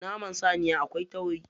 Naman saniya akwai tauri.